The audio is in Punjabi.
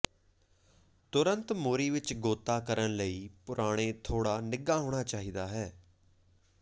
ਤੁਰੰਤ ਮੋਰੀ ਵਿੱਚ ਗੋਤਾ ਕਰਨ ਲਈ ਪੁਰਾਣੇ ਥੋੜ੍ਹਾ ਨਿੱਘਾ ਹੋਣਾ ਚਾਹੀਦਾ ਹੈ